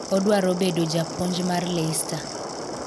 odwaro bedo japuonj mar Leicester